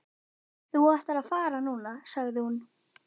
Þú ættir að fara núna, sagði hún.